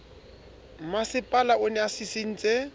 mmasepala o ne a sisintse